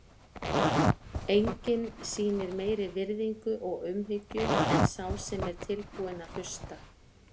Enginn sýnir meiri virðingu og umhyggju en sá sem er tilbúinn að hlusta.